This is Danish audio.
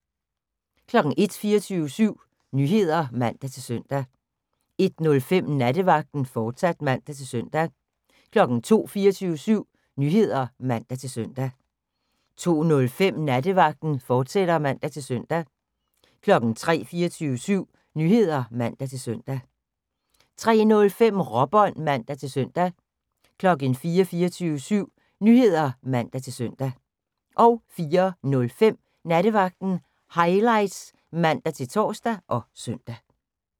01:00: 24syv Nyheder (man-søn) 01:05: Nattevagten, fortsat (man-søn) 02:00: 24syv Nyheder (man-søn) 02:05: Nattevagten, fortsat (man-søn) 03:00: 24syv Nyheder (man-søn) 03:05: Råbånd (man-søn) 04:00: 24syv Nyheder (man-søn) 04:05: Nattevagten Highlights (man-tor og søn)